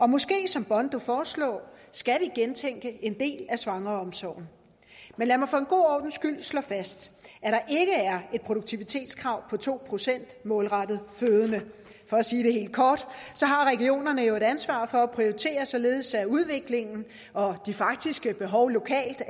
måske som bondo foreslog gentænke en del af svangreomsorgen men lad mig for en god ordens skyld slå fast at er et produktivitetskrav på to procent målrettet fødende for at sige det helt kort har regionerne jo et ansvar for at prioritere således at udviklingen og de faktiske behov lokalt